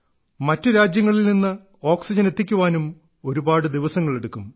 മറ്റു രാജ്യങ്ങളിൽ നിന്ന് ഓക്സിജൻ എത്തിക്കാനും ഒരുപാട് ദിവസങ്ങളെടുക്കും